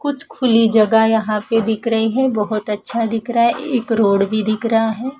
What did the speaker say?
कुछ खुली जगह यहां पे दिख रही है बहोत अच्छा दिख रहा है एक रोड भी दिख रहा है।